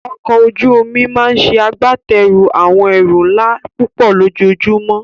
Ọkọ̀ ojú omi máa ń ṣe agbátẹrù àwọn ẹrù ńlá púpọ̀ lójoojúmọ́.